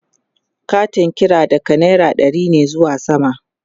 Katin kira daga naira ɗari ne zuwa sama